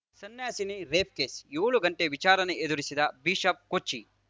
ಸನ್ಯಾಸಿನಿ rape case ಏಳು ಗಂಟೆ ವಿಚಾರಣೆ ಎದುರಿಸಿದ ಬಿಷಪ್‌ ಕೊಚ್ಚಿ